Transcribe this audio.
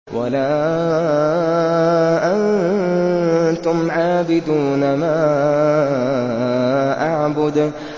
وَلَا أَنتُمْ عَابِدُونَ مَا أَعْبُدُ